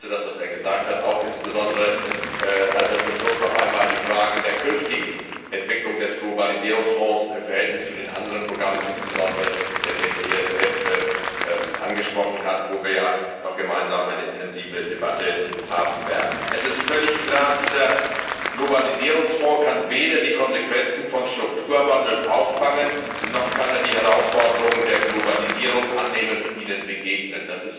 Ich unterstütze das, was er gesagt hat, auch insbesondere als er zum Schluss noch einmal die Fragen der künftigen Entwicklung des Globalisierungsfonds im Verhältnis zu den anderen Programmen insbesondere des ESF angesprochen hat, über den wir ja noch eine gemeinsame intensive Debatte haben werden. Es ist völlig klar, dieser Globalisierungsfonds kann weder die Konsequenzen von Strukturwandel auffangen, noch kann er die Herausforderungen der Globalisierung annehmen und ihnen begegnen.